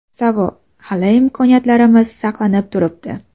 Savol: Hali imkoniyatlarimiz saqlanib turibdi.